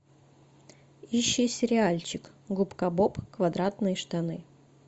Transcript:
ищи сериальчик губка боб квадратные штаны